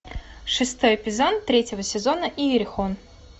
шестой эпизод третьего сезона иерихон